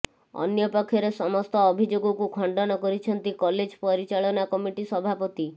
ଅନ୍ୟପକ୍ଷରେ ସମସ୍ତ ଅଭିଯୋଗକୁ ଖଣ୍ଡନ କରିଛନ୍ତି କଲେଜ ପରିଚାଳନା କମିଟି ସଭାପତି